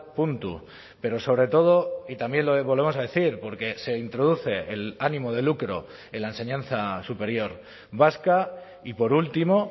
puntu pero sobre todo y también lo volvemos a decir porque se introduce el ánimo de lucro en la enseñanza superior vasca y por último